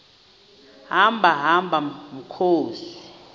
hamba hamba mkhozi